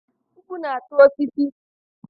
Mkpu na-ata osisi.